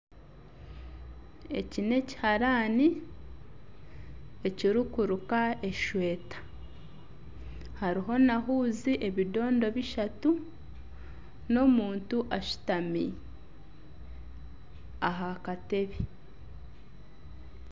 Eki nekiharaani ekirikubaziira esweeta hariho nana ehuuzi ebidondo bishatu nana omuntu ashutami aha katebe